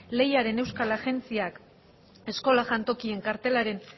lehiaren euskal agintaritzak eskola jantokien kartelaren